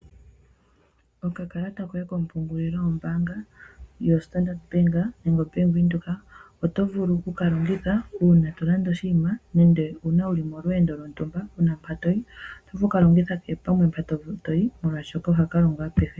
Oka kalata koye komapungulilo kombaanga yo Standard nenge ya Venduka Otovulu oku kalongitha uuna to landa oshinima nenge wuli molweendo lwontumba wuna mpa toyi oto vulu oku kalongitha.